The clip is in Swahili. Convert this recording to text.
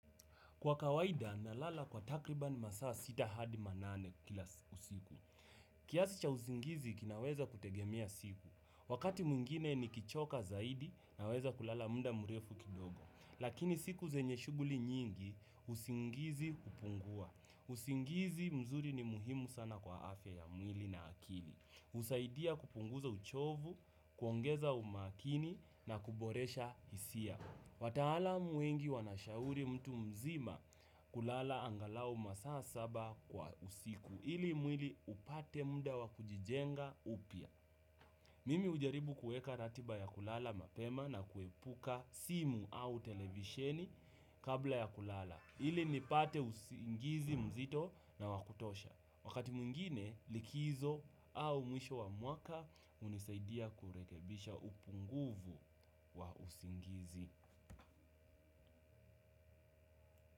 Kwa kawaida, nalala kwa takriban masaa sita hadi manane kila usiku. Kiasi cha usingizi kinaweza kutegemea siku. Wakati mwingine nikichoka zaidi naweza kulala muda murefu kidogo. Lakini siku zenye shuguli nyingi, usingizi hupungua. Usingizi mzuri ni muhimu sana kwa afya ya mwili na akili. Usaidia kupunguza uchovu, kuongeza umakini na kuboresha hisia. Wataalam wengi wanashauri mtu mzima kulala angalau masaa saba kwa usiku ili mwili upate muda wa kujijenga upya. Mimi ujaribu kueka ratiba ya kulala mapema na kuepuka simu au televisheni kabla ya kulala. Ili nipate usingizi mzito na wa kutosha. Wakati mwingine likizo au mwisho wa mwaka unisaidia kurekebisha upunguvu wa usingizi.